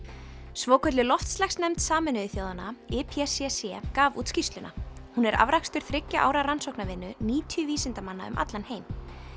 svokölluð loftslagsnefnd Sameinuðu þjóðanna gaf út skýrsluna hún er afrakstur þriggja ára rannsóknarvinnu níutíu vísindamanna um allan heim